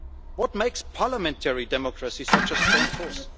What makes parliamentary democracy such a strong force?